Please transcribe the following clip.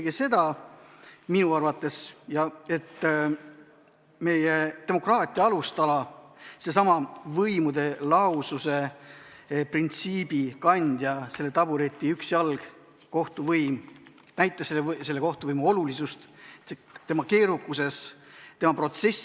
See näitas minu arvates eelkõige seda, et meie demokraatia alustala, võimude lahususe printsiibi kandja, tabureti üks jalg ehk kohtuvõim on kogu oma keerukuses väga oluline.